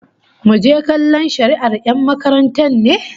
Muje kallon shari'ar 'yan takarar ne?